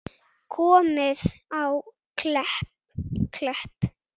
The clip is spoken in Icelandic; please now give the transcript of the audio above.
Komið á Klepp?